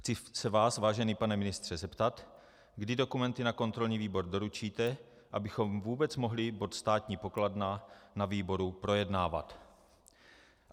Chci se vás, vážený pane ministře, zeptat, kdy dokumenty na kontrolní výbor doručíte, abychom vůbec mohli bod Státní pokladna na výboru projednávat.